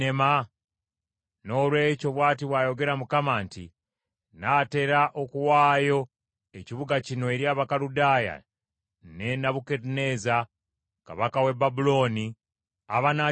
Noolwekyo, bw’ati bw’ayogera Mukama nti, ‘Nnaatera okuwaayo ekibuga kino eri Abakaludaaya ne Nebukadduneeza kabaka w’e Babulooni, abanaakiwamba.